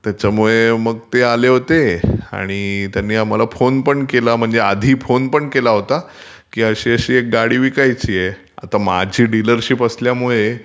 त्याच्यमुळे मग ते आले होते आणि त्यांनी आम्हाला फोन पण केला होता की अशी अशी एक गाडी विकायचीय. आता माझी डीलरशिप असल्यामुळे...